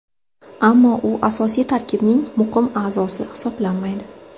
Ammo u asosiy tarkibning muqim a’zosi hisoblanmaydi.